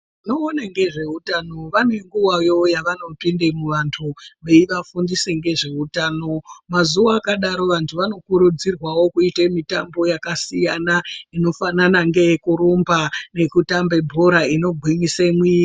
Vanoona ngezvehutano vane nguwawo yavanopinda muvantu veivafundisa nezvehutano mazuva akadaro vantu vanokurudzirwa kuita mitambo yakasiyana inofanana neye kuramba nekutamba bhora inogwinyisa mwiri.